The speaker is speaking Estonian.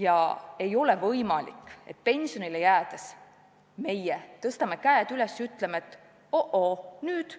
Ja ei ole võimalik, et pensionile jäädes me tõstame käed üles ja ütleme, et pole midagi, nüüd